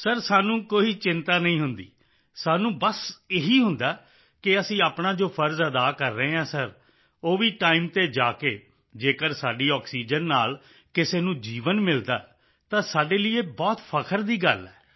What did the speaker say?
sir ਸਾਨੂੰ ਕੋਈ ਚਿੰਤਾ ਨਹੀਂ ਹੁੰਦੀ ਸਾਨੂੰ ਬਸ ਇਹ ਹੀ ਹੁੰਦਾ ਹੈ ਕਿ ਅਸੀਂ ਆਪਣਾ ਜੋ ਫ਼ਰਜ਼ ਅਦਾ ਕਰ ਰਹੇ ਹਾਂ ਸਰ ਉਹ ਵੀ ਟਾਈਮ ਤੇ ਜਾ ਕੇ ਜੇਕਰ ਸਾਡੀ ਆਕਸੀਜਨ ਨਾਲ ਕਿਸੇ ਨੂੰ ਜੀਵਨ ਮਿਲਦਾ ਹੈ ਤਾਂ ਸਾਡੇ ਲਈ ਇਹ ਬਹੁਤ ਫ਼ਖਰ ਦੀ ਗੱਲ ਹੈ